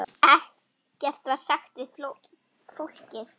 Ekkert var sagt við fólkið.